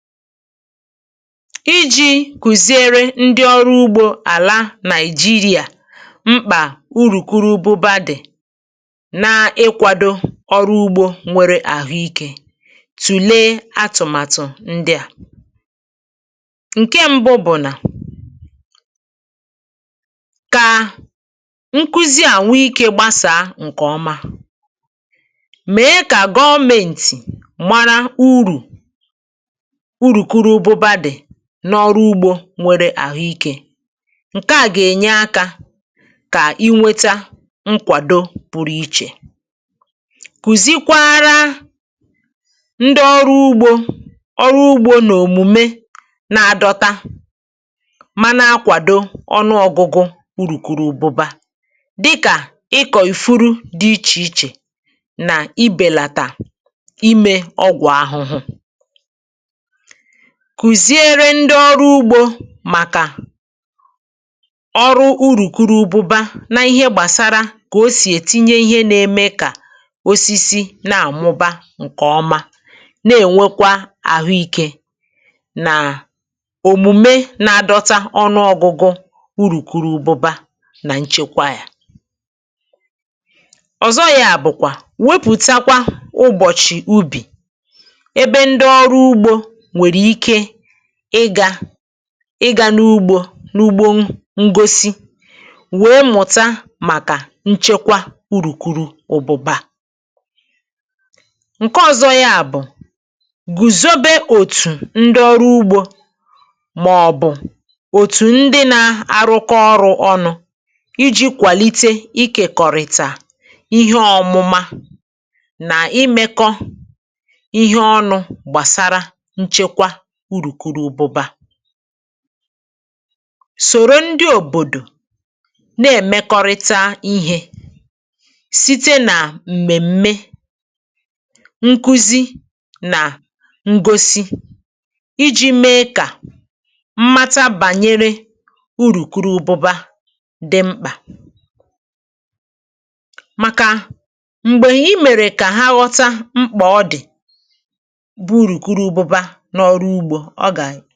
Iji̇ kụ̀ziere ndị ọrụ ugbȯ àla Nigeria mkpà urùkurubụba dị na ịkwȧdȯ ọrụ ugbȯ nwere àhụ ikė, tùlee atụ̀màtụ̀ ndị̀ à. Nke ṁbụ bụ̀ nà: kà nkụzi a nwe ikė gbasàa ǹkè ọma, mee kà gọmėntị̀ mara urù urukurụbụba dị̀ n’ọrụ ugbȯ nwere àhụ ikė. Nke à gà-ènye akȧ kà i nweta nkwàdo pụrụ ichè. Kùzikwara ndị ọrụ ugbȯ ọrụ ugbȯ n’òmùme na-adọta ma na-akwàdo ọnụọgụ̇gụ̇ urùkùrubụba, dịkà ịkọ̀ ifuru dị ichè ichè nà ibèlàtà imė ọgwụ̀ ahụhụ. Kùziere ndị ọrụ ugbȯ màkà ọrụ urùkurubụba nà ihe gbàsara kà o sì ètinye ihe nȧ-ėmė kà osisi na-àmụba ǹkè ọma, na-ènwekwa àhụ ikė nà òmùme na-adọta ọnụọgụgụ urùkurubụba nà nchekwa yȧ. Ọzọ yȧ bụ̀kwà, wepùtakwa ụbọ̀chị̀ ubì, ebe ndị ọrụ ugbȯ nwere ike ịga ịgȧ n’ugbȯ n’ugbo ǹgosi wèe mụ̀ta màkà nchekwa urukuru ụ̀bụ̀bà. Nke ọ̀zọ ya bụ̀, gùzobė òtù ndị ọrụ ugbȯ màọbụ̀ òtù ndị na-arụkọ ọrụ̇ ọnụ̇ iji̇ kwàlite ikėkọ̀rìtà ihe ọ̀mụma nà imekọ ihe ọnụ̇ gbàsara nchekwa urukurubụba. Sòrò ndị òbòdò na-èmekọrịta ihe site nà m̀mèm̀me, nkuzi nà ǹgosi iji̇ mee kà mmata bànyere urùkurubụba dị mkpà, màkà m̀gbè i mèrè kà ha ghọta mkpà ọ dị̀ bụ urukurubụba n’ọrụ ugbo ọ ga